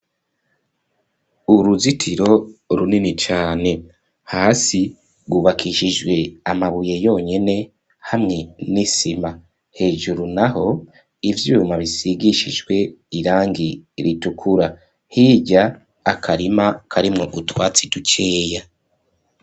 Uruzitiro runini cane, hasi hubakishijwe amabuye yonyene hamwe n'isima, hejuru naho ivyuma bisigishijwe irangi ritukura, hirya akarima karimwo utwatsi dukeya.